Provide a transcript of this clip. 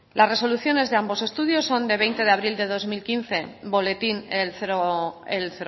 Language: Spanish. las resoluciones de ambos estudios son de veinte de abril de dos mil quince boletín el